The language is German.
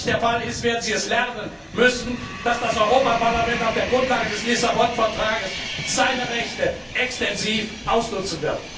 bereit. Wenn das nicht der Fall ist, werden Sie lernen müssen, dass das Europaparlament auf der Grundlage des Lissabon Vertrags seine Rechte extensiv ausnutzen wird!